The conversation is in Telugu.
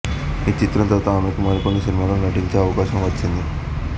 ఆ చిత్రం తరువాత ఆమెకు మరికొన్ని సినిమాలలో నటించే అవకాశం వచ్చింది